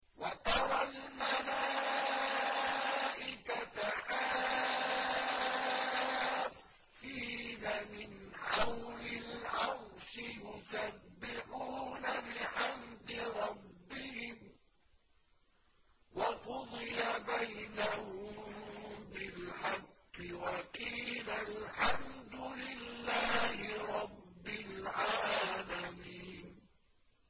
وَتَرَى الْمَلَائِكَةَ حَافِّينَ مِنْ حَوْلِ الْعَرْشِ يُسَبِّحُونَ بِحَمْدِ رَبِّهِمْ ۖ وَقُضِيَ بَيْنَهُم بِالْحَقِّ وَقِيلَ الْحَمْدُ لِلَّهِ رَبِّ الْعَالَمِينَ